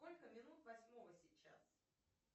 сколько минут восьмого сейчас